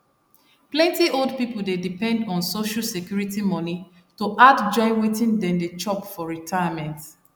plenty old people dey depend on social security money to add join wetin dem dey chop for retirement